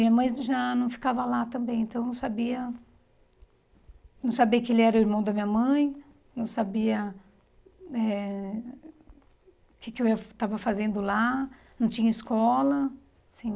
E minha mãe já não ficava lá também, então eu não sabia... Não sabia que ele era o irmão da minha mãe, não sabia eh o que que eu ia estava fazendo lá, não tinha escola, assim...